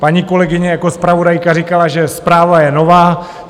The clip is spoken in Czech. Paní kolegyně jako zpravodajka říkala, že zpráva je nová.